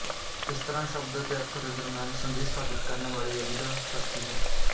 ਇਸ ਤਰਾਂ ਸ਼ਬਦ ਅਤੇ ਅਰਥ ਦੇ ਦਰਮਿਆਨ ਸੰਧੀ ਸਥਾਪਤ ਕਰਨ ਵਾਲੀ ਅਭਿਧਾ ਸ਼ਕਤੀ ਹੈ